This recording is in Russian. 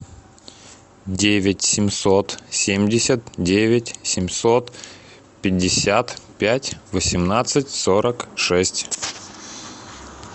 девять семьсот семьдесят девять семьсот пятьдесят пять восемнадцать сорок шесть